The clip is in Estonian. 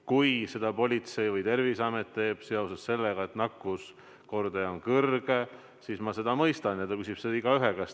Kui politsei või Terviseamet teeb seda seoses sellega, et nakkuskordaja on kõrge, siis ma mõistan, et seda küsitakse igaühe käest.